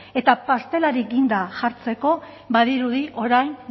eta pastelari ginda jartzeko badirudi orain